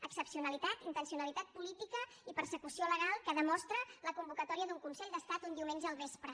excepcionalitat intencionalitat política i persecució legal que demostra la convocatòria d’un consell d’estat un diumenge al vespre